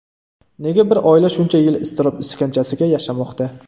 Nega bir oila shuncha yil iztirob iskanjasiga yashamoqda?